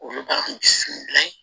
Olu b'a f'u bila ye